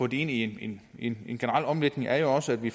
i en generel omlægning er jo også at vi